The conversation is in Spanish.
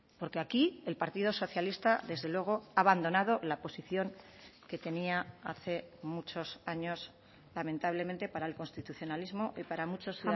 porque aquí el partido socialista desde luego ha abandonado la posición que tenía hace muchos años lamentablemente para el constitucionalismo y para muchos